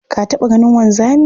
Ka taɓa ganin wanzami?